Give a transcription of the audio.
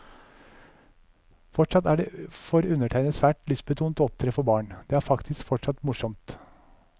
Fortsatt er det for undertegnede svært lystbetont å opptre for barn, det er faktisk fortsatt morsomt.